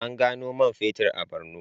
An gano man fetur a Bornu.